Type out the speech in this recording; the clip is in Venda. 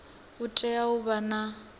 tea u vha vha na